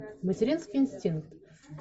материнский инстинкт